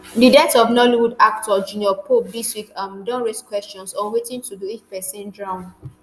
di death of nollywood actor junior pope dis week um don raise questions on wetin to do if pesin drown